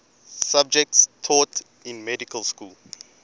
subjects taught in medical school